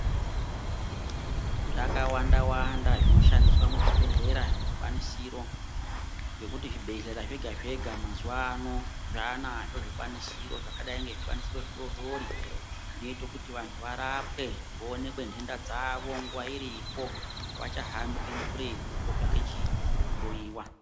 Zvakawanda wanda zvinoshandiswa muzvibhedhlera zvikwanisiro ngekuti zvibhedhlera zvega zvega mazuwa ano zvanazvo zvikwanisiro zvakadai ngezvibatiso zvidori dori zvinoito kuti vanhu varapwe vooneke ndenda dzawo iripo. Havachahambi kuretu kotsvake hloyiwa.